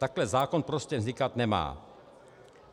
Takhle zákon prostě vznikat nemá.